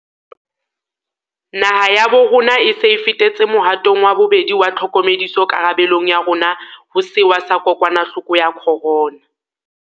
Naha ya bo rona e se e fetetse mohatong wa bobedi wa tlhokomediso karabe long ya rona ho sewa sa kokwanahloko ya corona.